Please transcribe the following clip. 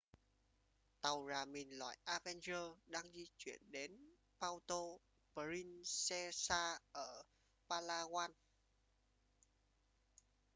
tàu rà mìn loại avenger đang di chuyển đến puerto princesa ở palawan